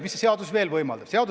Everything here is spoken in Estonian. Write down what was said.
Mida seadus veel võimaldab?